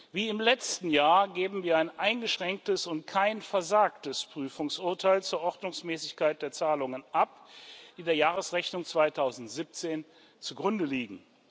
Wie im letzten Jahr geben wir ein eingeschränktes und kein versagtes Prüfungsurteil zur Ordnungsmäßigkeit der Zahlungen ab, die der Jahresrechnung 2017 zugrunde liegen.